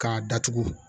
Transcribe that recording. K'a datugu